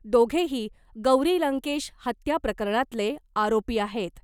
दोघेही गौरी लंकेश हत्या प्रकरणातले आरोपी आहेत .